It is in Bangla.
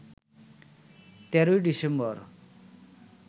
১৩ই ডিসেম্বর